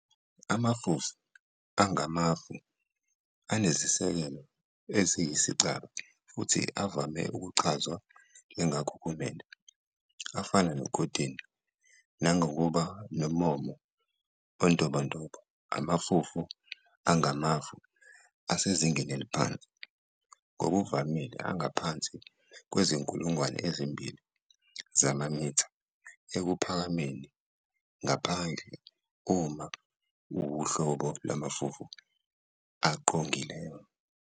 Amafufu angamafu anezisekelo eziyisicaba futhi avame ukuchazwa njengakhukhumele, afana nokotini, nangokuba nommomo ontobontobo. Amafufu angamafu asezingeni eliphansi, ngokuvamile angaphansi kwezinkulungwane ezimbili, 2,000, zamamitha ekuphakameni ngaphandle uma ewuhlobo lwamafufu aqongileyo.